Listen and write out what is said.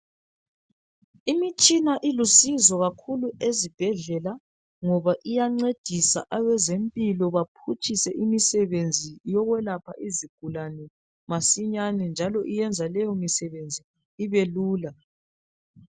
Imitshina ilusizo kakhulu ezibhedlela ngoba iyancedisa abezempilo baphutshise imisebenzi yokwelapha izigulane masinyane, njalo iyenza leyo misebenzi ibelula.